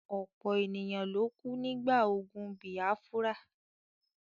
ọ̀pọ̀ ènìyàn ló kú nígbà ogun bìâfúrà.